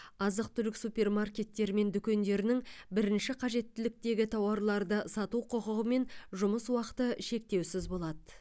азық түлік супермаркеттері мен дүкендерінің бірінші қажеттіліктегі тауарларды сату құқығымен жұмыс уақыты шектеусіз болады